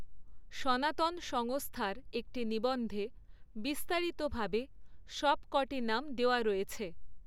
সনাতন সংস্থার একটি নিবন্ধে বিস্তারিতভাবে সবকটি নাম দেওয়া রয়েছে।